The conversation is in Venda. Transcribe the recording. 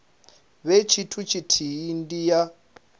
vhe tshithu tshithihi ndi ya